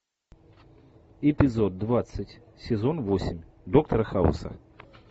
эпизод двадцать сезон восемь доктора хауса